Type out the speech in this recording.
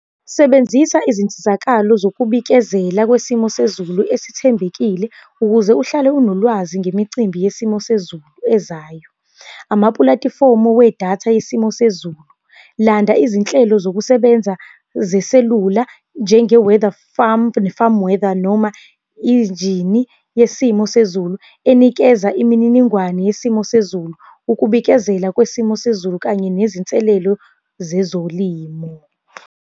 Sebenzisa izinsizakalo zokubikezela kwesimo sezulu esithembekile ukuze uhlale unolwazi ngemicimbi yesimo sezulu ezayo. Amapulatifomu wedatha yesimo sezulu. Landa izinhlelo zokusebenza zeselula, njenge-weather farm, ne-farm weather, noma injini yesimo sezulu enikeza imininingwane yesimo sezulu. Ukubikezela kwesimo sezulu kanye nezinselelo zezolimo.